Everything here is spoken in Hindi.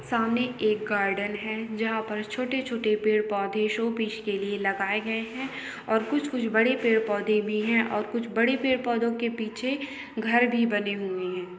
सामने एक गार्डन है जहां पर छोटे छोटे पेड़ पौधे शोपीस के लिए लगाए गए हैं और कुछ कुछ बड़े पेड़ पौधे भी हैं और कुछ बड़ी पेड़ पौधों के पीछे घर भी बने हुए हैं।